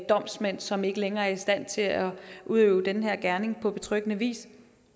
domsmænd som ikke længere er i stand til at udøve den her gerning på betryggende vis